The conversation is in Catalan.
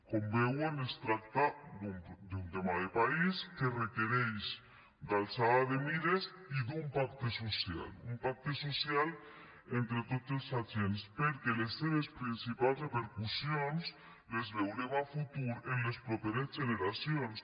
com veuen es tracta d’un tema de país que requereix altura de mires i un pacte social un pacte social entre tots els agents perquè les seves principals repercussions les veurem a futur en les properes generacions